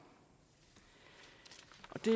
og det